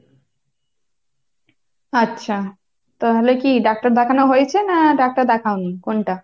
আচ্ছা, তাহলে কি ডাক্তার দেখানো হয়েছে? না ডাক্তার দেখাও নি, কোনটা?